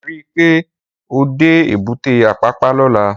Ri pé ó dé ébùté Apapa lòlá